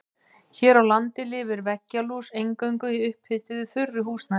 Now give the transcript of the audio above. Hér á landi lifir veggjalús eingöngu í upphituðu þurru húsnæði.